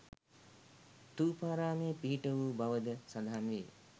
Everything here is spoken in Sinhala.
ථූපාරාමයේ පිහිට වු බවද සඳහන් වේ.